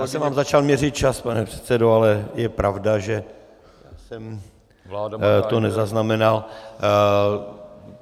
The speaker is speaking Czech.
Já jsem vám začal měřit čas, pane předsedo, ale je pravda, že jsem to nezaznamenal.